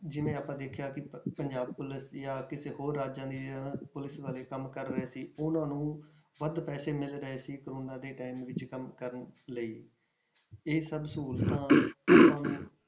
ਜਿਵੇਂ ਆਪਾਂ ਦੇਖਿਆ ਕਿ ਪ~ ਪੰਜਾਬ ਕੋਲ ਜਾਂ ਕਿਸੇ ਹੋਰ ਰਾਜਾਂ ਦੀਆਂ ਪੁਲਿਸ ਵਾਲੇ ਕੰਮ ਕਰ ਰਹੇ ਸੀ ਉਹਨਾਂ ਨੂੰ ਵੱਧ ਪੈਸੇ ਮਿਲ ਰਹੇ ਸੀ ਕੋਰੋਨਾ ਦੇ time ਵਿੱਚ ਕੰਮ ਕਰਨ ਲਈ ਇਹ ਸਭ ਸਹੂਲਤਾਂ